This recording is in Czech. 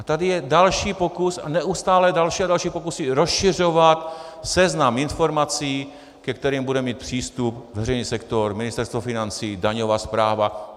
A tady je další pokus a neustále další a další pokusy rozšiřovat seznam informací, ke kterým bude mít přístup veřejný sektor, Ministerstvo financí, daňová správa.